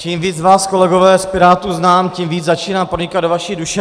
Čím víc vás, kolegové z Pirátů, znám, tím víc začínám pronikat do vaší duše.